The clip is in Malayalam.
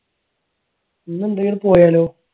ഇന്ന് എവിടെയെങ്കിലും പോയാലോ?